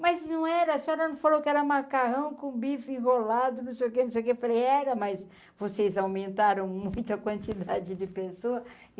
Mas não era, a senhora não falou que era macarrão com bife enrolado não sei o que não sei o que, falei era mas vocês aumentaram muito a quantidade de pessoa.